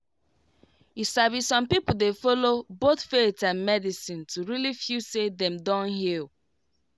you sabi some people dey follow both faith and medicine to really feel say dem don heal.